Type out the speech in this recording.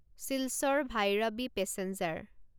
Silchar Bhairabi passenger